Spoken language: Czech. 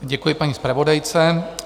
Děkuji paní zpravodajce.